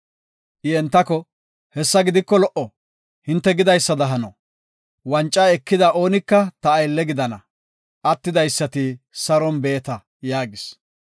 I entako, “Hessa gidiko lo77o, hinte gidaysada hano. Wanca ekida oonika ta aylle gidana; attidaysati saron beeta” yaagis.